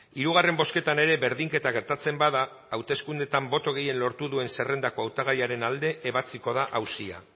hirugarren bozketan ere berdinketa gertatzen bada hauteskundeetan boto gehien lortu duen zerrendako hautagaiaren alde ebatziko da auzia